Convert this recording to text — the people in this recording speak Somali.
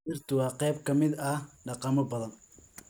Dhirtu waa qayb ka mid ah dhaqamo badan.